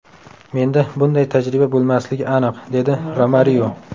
Menda bunday tajriba bo‘lmasligi aniq”, – dedi Romario.